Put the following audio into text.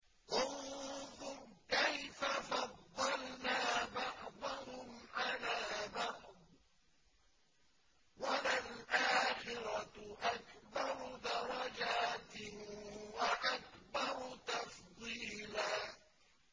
انظُرْ كَيْفَ فَضَّلْنَا بَعْضَهُمْ عَلَىٰ بَعْضٍ ۚ وَلَلْآخِرَةُ أَكْبَرُ دَرَجَاتٍ وَأَكْبَرُ تَفْضِيلًا